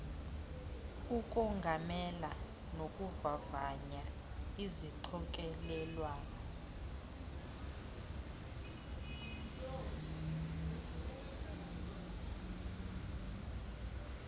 ukongamela nokuvavanya izixokelelwano